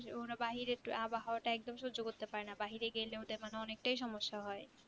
ওরা বাহিরে আবহাওয়া টা একদম সজ্জ করতে পারে না বাহিরে গেলে ওদের মানে অনেকটাই সমস্যা হয়